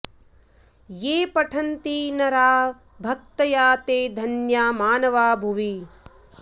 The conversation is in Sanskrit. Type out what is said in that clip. ये पठन्ति नरा भक्त्या ते धन्या मानवा भुवि